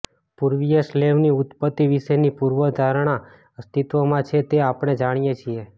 પૂર્વીય સ્લેવની ઉત્પત્તિ વિશેની પૂર્વધારણા અસ્તિત્વમાં છે તે આપણે જાણીએ છીએ